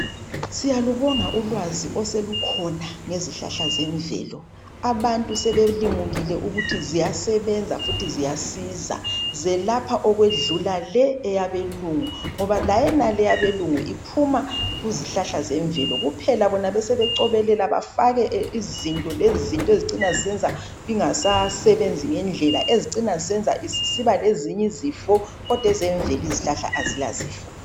Siyalubonga ulwazi oselukhona ngezihlahla zemvelo abantu sebelimukile ukuthi ziyasebenza futhi ziyasiza zelapha okwedlula le eyabelungu ngoba layonale eyabelungu iphuma kuzihlahla zemvelo kuphela bona besebecwebelela bafake izinto lezinto ezicina zisenza ingasasebenzi ngendlela ezicina zisiba lezinye izifo kodwa ezemvelo izihlahla azila zifo.